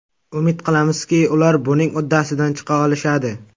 Umid qilamizki, ular buning uddasidan chiqa olishadi.